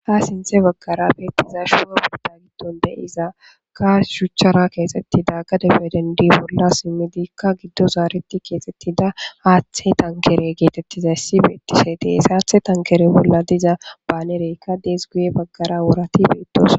Ha sinththe baggara de7iza shuchchara keexeththida gade bollan simmidikka giddo simmidikka keexeththida haththaa tankkeree geeththeththida issi de7ees; haaththi tankkeree bollan baanereekka de7es.